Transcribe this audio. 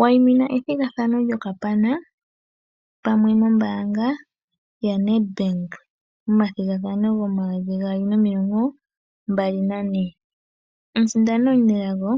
Wayimina ethigathano lyokapana pamwe nombanga yaNed Bank momathigathano gomomayovi gaali nomilongo mbali nane. Omusindani omunelago